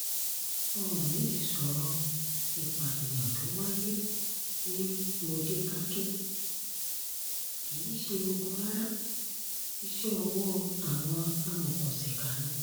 oòní ti sọ̀rọ̀ ìpànìyàn tó wáyé ní módékáke kì í ṣe ogun rárá iṣẹ́ ọwọ́ àwọn amòòkùnsìkà ni